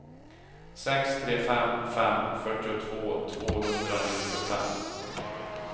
sex tre fem fem fyrtiotvå tvåhundranittiofem